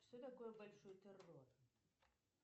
что такое большой террор